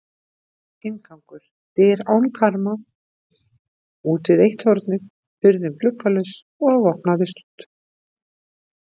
Inngangur: dyr án karma útvið eitt hornið, hurðin gluggalaus og opnaðist út.